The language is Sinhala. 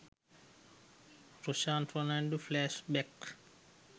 roshan fernando flash back